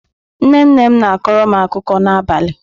Nne nne m na-akọrọ m akụkọ n'abalị.